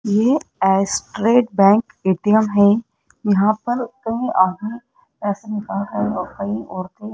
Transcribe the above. ये State Bank ATM है यहां पर कई आधुनिक कई औरते--